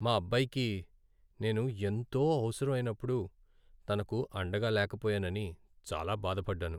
మా అబ్బాయికి నేను ఎంతో అవసరమైనప్పుడు తనకు అండగా లేకపోయానని చాలా బాధపడ్డాను.